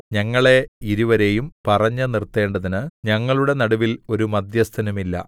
ഞങ്ങളെ ഇരുവരെയും പറഞ്ഞു നിർത്തേണ്ടതിന് ഞങ്ങളുടെ നടുവിൽ ഒരു മദ്ധ്യസ്ഥനുമില്ല